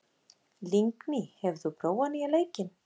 Lingný, hefur þú prófað nýja leikinn?